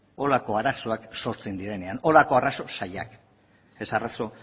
horrelako arazoak sortzen direnean horrelako arazo zailak ez arazo